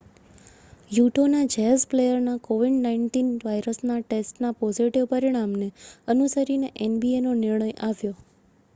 યૂટૉના jazz પ્લેયરના covid-19 વાયરસના ટેસ્ટના પોઝિટિવ પરિણામને અનુસરીને nbaનો નિર્ણય આવ્યો